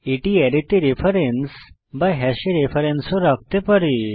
এটি অ্যারেতে রেফারেন্স বা হ্যাশে রেফারেন্স ও রাখতে পারে